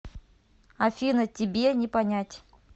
афина тебе не понять